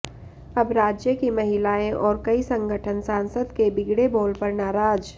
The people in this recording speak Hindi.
अब राज्य की महिलाएं और कई संगठन सासंद के बिगड़े बोल पर नाराज